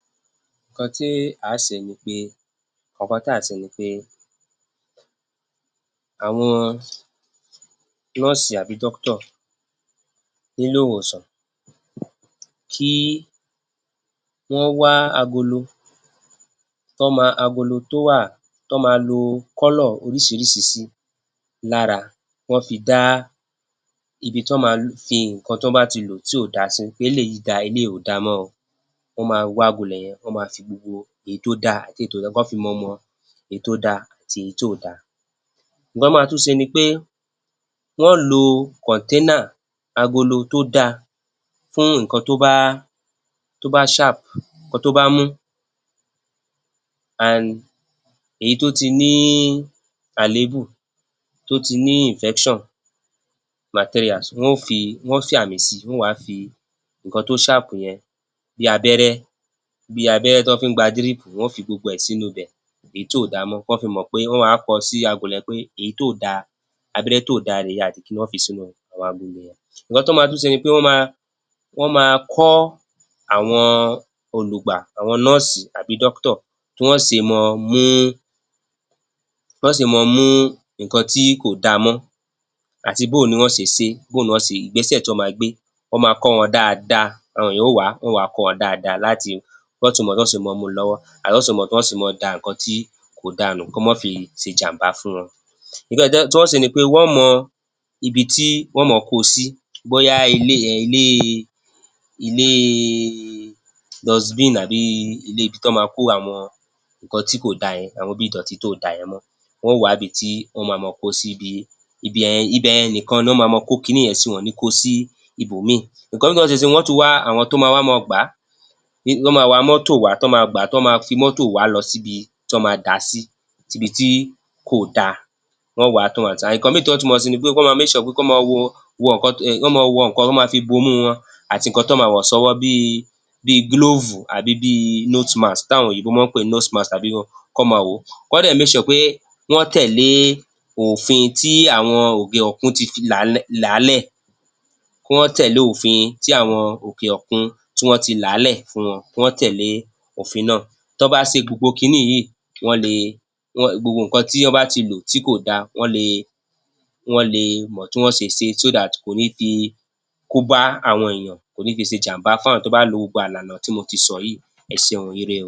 Kan tí á se ni pé, kàn kan tá a se ni pé àwọn nọ́ọ̀sì àbí doctor níléèwòsàn. Kí wọ́n wá agolo tán máa, agolo tó wà tán máa lo color orísirísi sí lára, kán fi dá ibi tán máa fi ǹǹkan tán bá ti lò tí ò dáa sí. Eléyìí dáa, eléyìí ò dáa mọ́ o. Wọ́n máa wá ilẹ̀ yẹn, wọ́n máa fi gbogbo èyí tó dáa kán fi mọ mọ èyí tó dáa àti èyí tóò dáa. Ǹǹkan tán máa tún se ni pé wọ́n lo container agolo tó dáa fún ǹǹkan tó bá, tó bá sharp, ǹǹkana tó bá mú. And, eyí tó ti ní àléébù, tó ti ní infection materials, wọ́n ó fi, wọ́n ó fi àmì sí i. Wọ́n ó wá fi ǹǹkan tó sharp yen bí abẹ́rẹ́, bí abẹ́rẹ́ tán fi ń gba drip. Wọ́n fi gbogbo rẹ̀ sínúu bẹ̀, eyí tó ò dáa mọ́, kán fi mọ̀ pé, wọ́n á wá kọ ọ́ sí agolo yẹn pé èyí tó ò dáa, abẹ́rẹ́ tó ò dáa rèé. Wọ́n fi sínú agolo yẹn. Ǹǹkan tán máa tún se ni pé wọ́n máa, wọ́n máa kọ́ àwọn olùgbà, àwọn nọ́ọ̀sì àbí doctor tí wọ́n se máa mú, tán se máa mú ǹǹkan tí kò dáa mọ́ àti bóo ni wọ́n se se é? Bóo ni wọ́n se? ìgbésẹ̀ tán máa gbé. Wọ́n máa kọ́ wọn dáadáa. Àwọn èèyàn ó wá. Wọ́n wá kọ́ wọn dáadáa láti, wọ́n tun mọ tán ó se máa mú u lọ́wọ́. Àwọn èèyàn ó tún mọ tán ó se máa da nǹkan tó ò dáa nù kó má fi se ìjàm̀bá fún wọn. N tí wọ́n ó se ni pé wọ́n mọ ibi tí wọ́n máa ko sí. Bóyá ilé, um ilée, ilée dustbin àbí ilé ibi tán máa ko àwọn ǹǹkan tí kò dáa yẹn àwọn bí ìdọ̀tí tó ò dáa yẹn mọ́. Wọ́n ó wábi tí wọ́n máa ma kó o sí bíi, ibẹ̀ yẹn nìkan ná ma ma kó kinní yẹn sí. Wọn ò níí ko sí ibòmíì. Ǹǹkan wọ́n tún wá àwọn tó wa má wá máa gbà á. Wọ́n máa wa mọ́tò wá tán máa gbà á, tán máa fi mọ́tò wà á lọ síbi tán máa dà á sí, síbi tí kò dáa. Wọ́n wá. Ǹǹkan míì tán tún máa se ni pé kán máa make sure pé kán máa wo, wọ ǹǹkan tó, um kán máa wọ ǹǹkan, kán máa fi bomú wọn àti ǹǹkan tán máa wọ̀ sọ́wọ́ bíi glóòfù àbí bíi nose-mask táwọn òyìnbó máa ń pè ní nose-mask, kán máa wọ̀ ọ́. Kán dẹ̀ make sure pé wọ́n tẹ̀lé òfin tí àwọn òkè òkun ti fi làálẹ̀, làálẹ̀. Kí wọ́n tẹ̀lé òfin tí àwọn òkè òkun tí wọ́n ti làálẹ̀ fún wọn. Kí wọ́n tẹ̀lé òfin náà. Tán bá se gbogbo kinní yìí, wọ́n le gbogbo ǹǹkan tí án bá ti lò tí kò dáa, wọ́n le, wọ́n le mọ̀ tí wọ́n se sé so that kò níí fi kó bá àwọn èèyàn. Kò níí fi se ìjàm̀bá fáwọn tó bá lo gbogbo ìlànà tí mo ti sọ yìí. Ẹ seun o. Ire o.